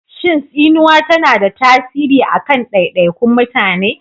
Shin tsinuwa tana da tasiri a kan daidaikun mutane?